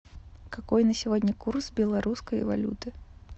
какой на сегодня курс белорусской валюты